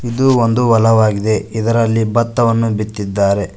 ಇದು ಒಂದು ಹೊಲವಾಗಿದೆ ಇದರಲ್ಲಿ ಬತ್ತವನ್ನು ಬಿತ್ತಿದ್ದಾರೆ.